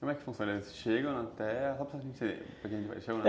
Como é que funcionários chegam na terra?